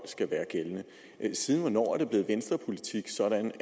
skal være gældende siden hvornår er det blevet venstrepolitik sådan